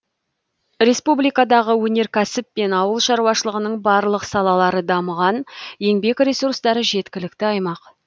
республикадағы өнеркәсіп пен ауыл шаруашылығының барлық салалары дамыған еңбек ресурстары жеткілікті аймақ